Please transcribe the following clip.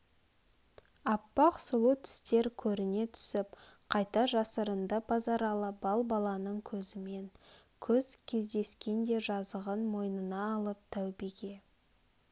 аппақ сұлу тістер көріне түсіп қайта жасырынды базаралы балбаланың көзімен көз кездескенде жазығын мойнына алып тәубеге